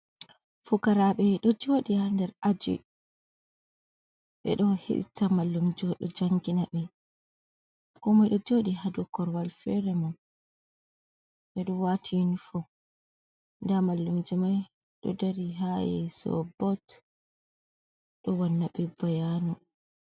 Fukaraɓe ɗo joɗi ha nder ahji, ɓeɗo hiɗita mallumjo ɗo jangina ɓe, komoy ɗo joɗi hadow korowal feere mun ɓeɗo wati unifo nda mallumjo mai ɗo dari ha yeeso bot ɗon wannabe bayano.